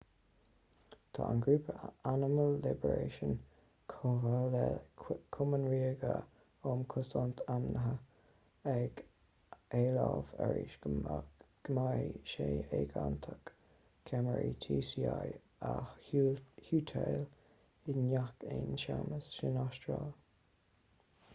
tá an grúpa animal liberation chomh maith le cumann ríoga um chosaint ainmhithe rspca ag éileamh arís go mbeidh sé éigeantach ceamaraí tci a shuiteáil i ngach aon seamlas san astráil